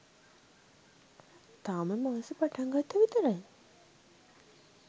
තාම මාසෙ පටන්ගත්තා විතරයි